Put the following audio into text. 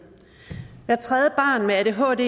hvert tredje barn med adhd